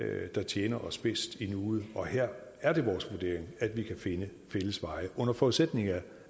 det der tjener os bedst i nuet og her er det vores vurdering at vi kan finde fælles veje under forudsætning af